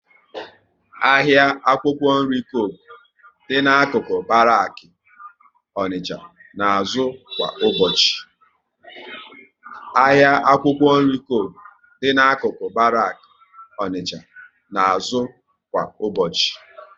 Ahịa akwụkwọ nri Coku dị n'akụkụ Baraki Onicha na azụ kwa ụbọchị